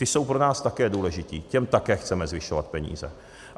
Ti jsou pro nás také důležití, těm také chceme zvyšovat peníze.